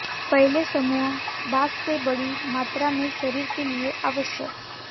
पहले समूह बाद से बड़ी मात्रा में शरीर के लिए आवश्यक